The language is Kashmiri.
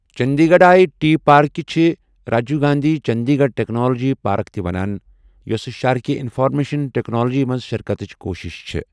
چندی گڈھ آیہ ٹی پاركہِ چھ، Rajiv Gandhi Chandigarh technology park تہِ ونان ، یوسہٕ شہرٕكہِ اِنفارمیشن ٹیكنالجی منز شركتٕچ كوٗشِش چھے٘۔